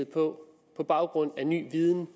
på baggrund af ny viden